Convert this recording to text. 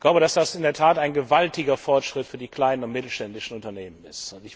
Ich glaube, dass das in der Tat ein gewaltiger Forschritt für die kleinen und mittelständischen Unternehmen ist.